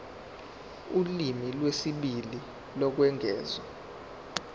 ulimi lwesibili lokwengeza